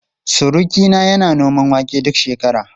Surukina yana noman wake duk shekara.